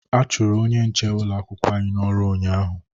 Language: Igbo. A chụrụ onye nche ụlọ akwụkwọ anyị n'ọrụ ụnyaahụ